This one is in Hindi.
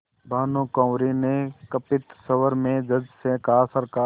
भानुकुँवरि ने कंपित स्वर में जज से कहासरकार